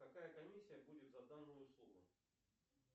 какая комиссия будет за данную услугу